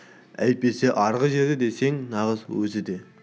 әйтпесе арғы жерде десең нағыз өзі еді де